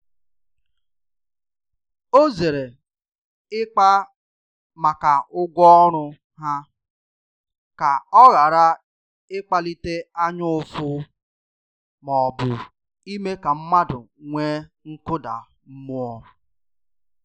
Ọ zere ịkpa maka ụgwọ ọrụ ha, ka ọ ghara ịkpalite anya ụfụ ma ọ bụ ime ka mmadụ nwee nkụda mmụọ.